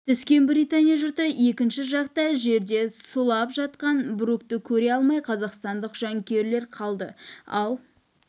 түскен британия жұрты екінші жақта жерде сұлап жатқан брукты көре алмай қазақстандық жанкүйерлер қалды ал